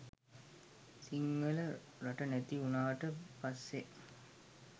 සිංහල රට නැති උනාට පස්සේ